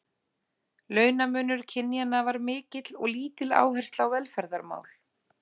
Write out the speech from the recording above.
Launamunur kynjanna var mikill og lítil áhersla á velferðarmál.